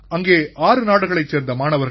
அங்கே ஆறு நாடுகளைச் சேர்ந்த மாணவர்கள்